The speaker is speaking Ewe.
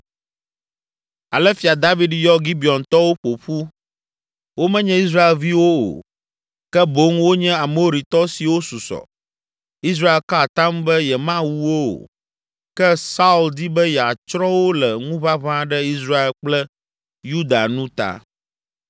Ale Fia David yɔ Gibeontɔwo ƒo ƒu. Womenye Israelviwo o, ke boŋ wonye Amoritɔ siwo susɔ. Israel ka atam be yemawu wo o, ke Saul di be yeatsrɔ̃ wo le ŋuʋaʋã ɖe Israel kple Yuda nu ta.